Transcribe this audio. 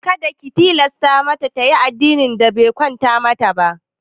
Kada ki tilasta mata tayi addinin da be kwanta mata ba!